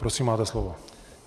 Prosím, máte slovo.